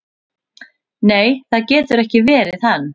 """Nei, það getur ekki verið hann."""